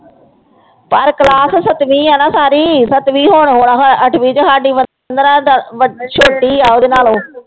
ਪਰ class ਸੱਤਵੀਂ ਹੈ ਨਾ ਸਾਰੀ, ਸੱਤਵੀਂ ਹੋਣ ਵਾਲਾ ਹੈ ਅੱਠਵੀਂ ਚ ਸਾਡੀ ਉਮਰ ਪੰਦਰਾਂ ਛੋਟੀ ਆ ਉਹਦੇ ਨਾਲੋਂ